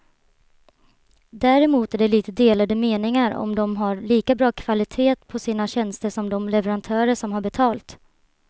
Däremot är det lite delade meningar om de har lika bra kvalitet på sina tjänster som de leverantörer som tar betalt.